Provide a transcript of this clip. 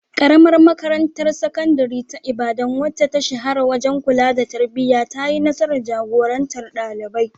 Karamar Makarantar Sakandare ta Ibadan, wacce ta shahara wajen kula da tarbiyya, ta yi nasarar jagorantar ɗalibai.